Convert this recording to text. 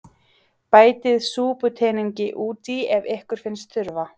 Bætið súputeningi út í ef ykkur finnst þurfa.